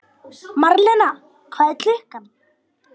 Marlena, hvað er klukkan?